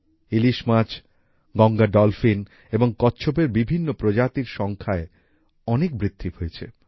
ইলিশ মাছ গঙ্গা ডলফিন এবং কচ্ছপের বিভিন্ন প্রজাতির সংখ্যায় অনেক বৃদ্ধি হয়েছে